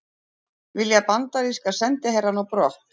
Vilja bandaríska sendiherrann á brott